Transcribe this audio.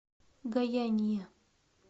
гояния